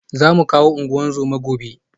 Za mu kawo ungozoma gobe